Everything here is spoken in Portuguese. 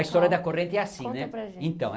A história da corrente é assim. conta para a gente então